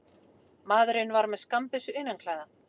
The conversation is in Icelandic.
Maðurinn var með skammbyssu innanklæða